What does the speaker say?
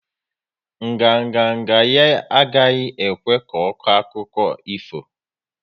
Nganga nga ya agaghi ekwe ko akụkọ ifo